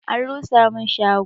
An rusa mun shago